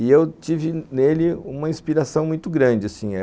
E eu tive nele uma inspiração muito grande assim, é...